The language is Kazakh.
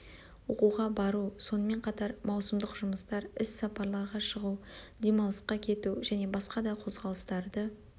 оқуға бару сонымен қатар маусымдық жұмыстар іс сапарларға шығу демалысқа кету және басқа да қозғалыстарды